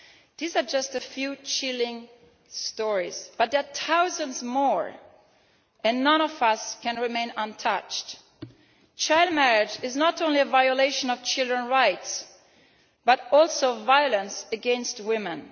These are just a few chilling stories, but there are thousands more and none of us can remain unmoved by them. Child marriage is not only a violation of children's rights but also a form of violence against women.